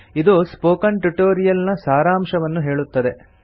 ಇದು spoken tutorial ನ ಸಾರಾಂಶವನ್ನು ಹೇಳುತ್ತದೆ